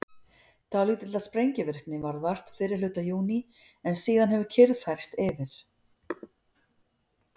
dálítillar sprengivirkni varð vart fyrri hluta júní en síðan hefur kyrrð færst yfir